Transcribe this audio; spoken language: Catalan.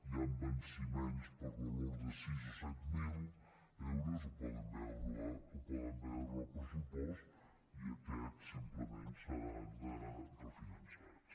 hi han venciments per valor de sis o set mil euros ho poden veure en el pressupost i aquests simplement seran refinançats